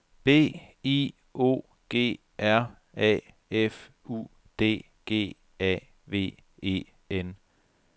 B I O G R A F U D G A V E N